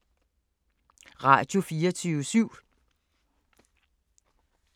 Radio24syv